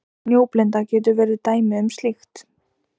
Snjóblinda getur verið dæmi um slíkt.